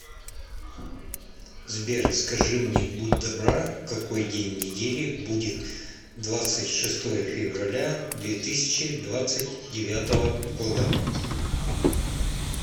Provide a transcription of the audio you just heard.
сбер скажи мне будь добра какой день недели будет двадцать шестое февраля две тысячи двадцать девятого года